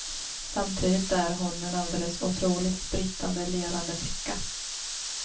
Samtidigt är hon en alldeles otroligt sprittande levande flicka.